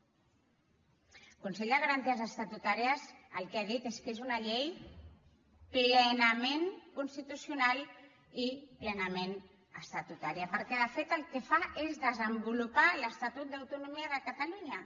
el consell de garanties estatutàries el que ha dit és que és una llei plenament constitucional i plenament estatutària perquè de fet el que fa és desenvolupar l’estatut d’autonomia de catalunya